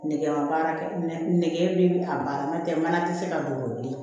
Nɛgɛ ma baara kɛ nɛgɛ bɛ a baara n'o tɛ mana tɛ se ka don o bilen